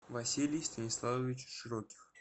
василий станиславович широких